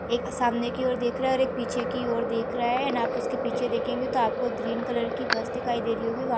एक सामने की ओर देख रहा है और एक पीछे की ओर देख रहा है एण्ड आप उस के पीछे देखेंगे तो अपको ग्रीन कलर की बस दिखाई दे रही होगी। व --